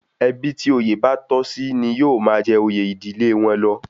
Ẹbí tí òye bá tọ́ sí ní yóó máa jẹ oyè ìdílé wọn lọ